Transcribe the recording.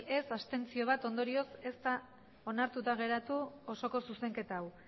abstentzioak bat ondorioz ez da onartuta geratu osoko zuzenketa hau